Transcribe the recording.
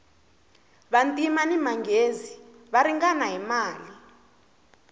vantima ni manghezi va ringana hi mali